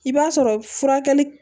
I b'a sɔrɔ furakɛli